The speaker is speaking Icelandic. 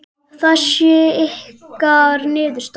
Það sé ykkar niðurstaða?